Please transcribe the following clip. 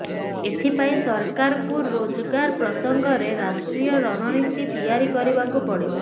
ଏଥିପାଇଁ ସରକାରଙ୍କୁ ରୋଜଗାର ପ୍ରସଙ୍ଗରେ ରାଷ୍ଟ୍ରୀୟ ରଣନୀତି ତିଆରି କରିବାକୁ ପଡିବ